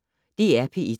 DR P1